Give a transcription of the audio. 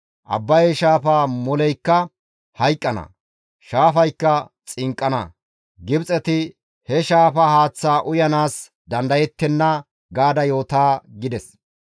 Abbaye shaafaa moleykka hayqqana; shaafaykka xinqqana; Gibxeti he shaafa haaththaa uyanaas dandayettenna› gaada yoota» gides.